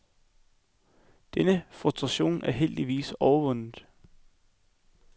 Denne frustration er heldigvis overvundet.